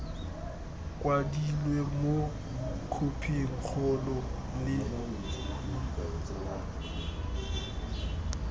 kwadilwe mo khophing kgolo le